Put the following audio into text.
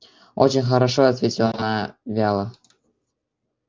очень хорошо ответила она вяло